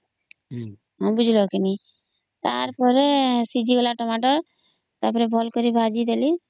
ନିବୁଜ ରଖିଲି ତା ପରେ ସିଝିଗଲା ଟମାଟୋ ତା ପରେ ଭଲ କରି ଭାଜି ଦେଲି